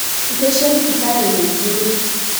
Itĩcia thibitarĩnĩigĩrĩ.